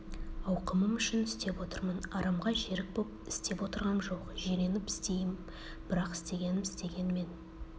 ауқымым үшін істеп отырмын арамға жерік боп істеп отырғам жоқ жиреніп істейім бірақ істегенім істеген мен